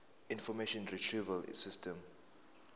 information retrieval system